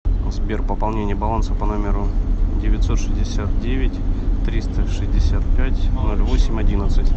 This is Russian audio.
сбер пополнение баланса по номеру девятьсот шестьдесят девять триста шестьдесят пять ноль восемь одиннадцать